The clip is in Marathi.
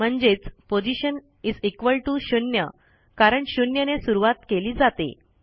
म्हणजेच पोशन 0 कारण 0ने सुरूवात केली जाते